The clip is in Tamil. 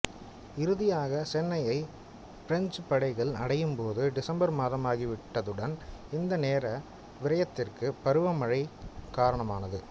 இறுதியாக சென்னையை பிரெஞ்சுப் படைகள் அடையும் போது டிசம்பர் மாதமாகி விட்டதுடன் இந்த நேர விரயத்திற்கு பருவ மழையும் காரணமானது